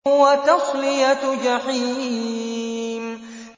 وَتَصْلِيَةُ جَحِيمٍ